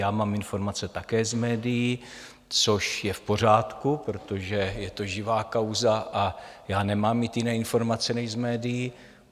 Já mám informace také z médií, což je v pořádku, protože je to živá kauza a já nemám mít jiné informace než z médií.